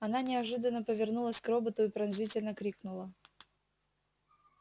она неожиданно повернулась к роботу и пронзительно крикнула